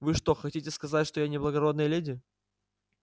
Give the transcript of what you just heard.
вы что хотите сказать что я не благородная леди